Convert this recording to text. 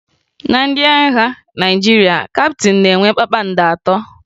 Na ndị agha Naịjirịa, kaptịn na-enwe kpakpando atọ